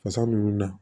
Fasa ninnu na